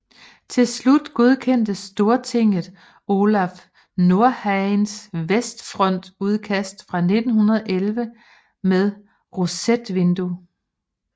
Til slut godkendte Stortinget Olaf Nordhagens vestfrontudkast fra 1911 med rosetvindue